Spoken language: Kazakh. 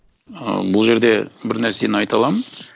ыыы бұл жерде бір нәрсені айта аламын